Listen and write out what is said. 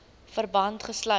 verband gesluit